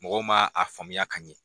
Mɔgɔw ma a faamuya ka ɲɛ.